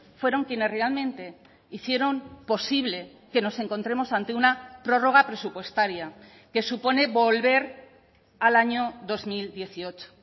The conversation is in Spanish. fueron quienes realmente hicieron posible que nos encontremos ante una prórroga presupuestaria que supone volver al año dos mil dieciocho